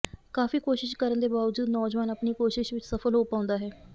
ਕਾਫੀ ਕੋਸ਼ਿਸ਼ ਕਰਨ ਦੇ ਬਾਅਦ ਨੌਜਵਾਨ ਆਪਣੀ ਕੋਸ਼ਿਸ਼ ਵਿਚ ਸਫਲ ਹੋ ਪਾਉਂਦਾ ਹੈ